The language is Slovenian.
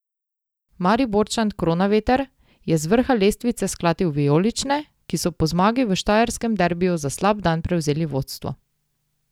Mariborčan Kronaveter je z vrha lestvice sklatil vijolične, ki so po zmagi v štajerskem derbiju za slab dan prevzeli vodstvo.